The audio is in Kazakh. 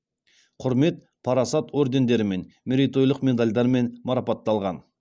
құрмет парасат ордендерімен мерейтойлық медальдармен марапатталған